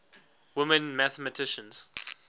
women mathematicians